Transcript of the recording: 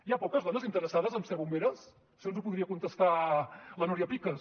hi ha poques dones interessades a ser bomberes això ens ho podria contestar la núria picas